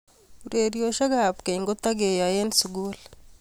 ureriosiek ab keny ketikeyoe en sukul